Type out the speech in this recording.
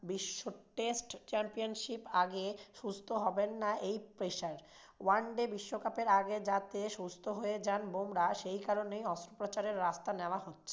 বিশ্ব test championship এর আগে সুস্থ হবেন না এই peacerone day বিশ্বকাপের আগে যাতে সুস্থ হয়ে যান বুমরাহ সেকারণেই অস্ত্রোপচারের রাস্তা নেওয়া হচ্ছে।